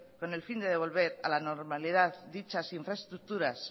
con el fin de devolver a la normalidad dichas infraestructuras